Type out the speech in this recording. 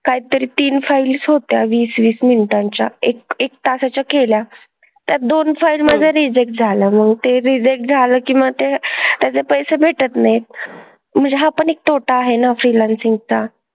काहीतरी तीन files होत्या वीस-वीस मिनिटांच्या. एक एक तासाच्या केल्या. त्या दोन file माझं reject झालं. मग ते reject झालं की मग ते त्याचे पैसे भेटत नाहीत. म्हणजे हा पण एक तोटा आहे ना freelancing चा.